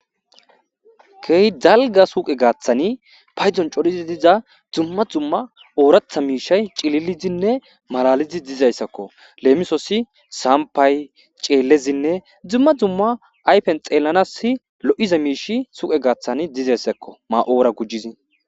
Keehi dalgga suuqe gaathan paydon cori diza Duma Duma oratha mishay Cillilodine Malalidi dizaysako Lemososi Sampa Cellezine Fuma duma ayfen xellanas Loeaza mishiy Suyke gathan dizaysako Maora gujidi